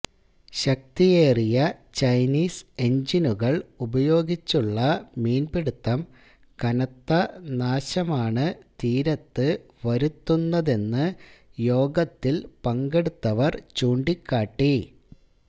ശക്തിയേറിയ ചൈനീസ് എന്ജിനുകള് ഉപയോഗിച്ചുള്ള മീന്പിടിത്തം കനത്ത നാശമാണ് തീരത്ത് വരുത്തുന്നതെന്ന് യോഗത്തില് പങ്കെടുത്തവര് ചൂണ്ടിക്കാട്ടി